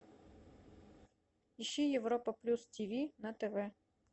ищи европа плюс ти ви на тв